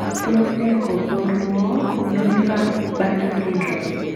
Tos nee koborunoikab Bartter syndrome?